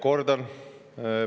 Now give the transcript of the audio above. Kordan.